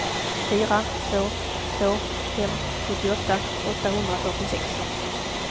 fyra två två fem sjuttioåtta åttahundrafyrtiosex